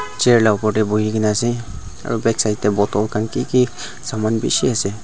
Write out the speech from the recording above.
chair la opor tae buhikaena ase aru backside tae bottle khan kiki saman bishi ase.